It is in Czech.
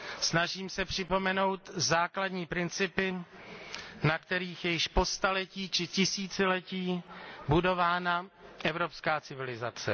Snažím se připomenout základní principy, na kterých je již po staletí či tisíciletí budována evropská civilizace.